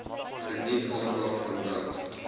geniet aandag vandat